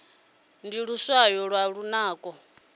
ndi luswayo lwa lunako